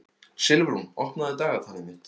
Silfrún, opnaðu dagatalið mitt.